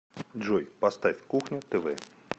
джой поставь кухня тв